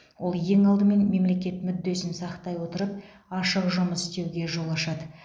ол ең алдымен мемлекет мүддесін сақтай отырып ашық жұмыс істеуге жол ашады